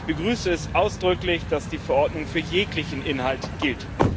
Ich begrüße es ausdrücklich, dass die Verordnung für jeglichen Inhalt gilt.